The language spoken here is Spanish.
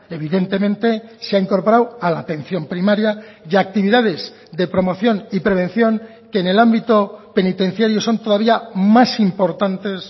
evidentemente se ha incorporado a la atención primaria y a actividades de promoción y prevención que en el ámbito penitenciario son todavía más importantes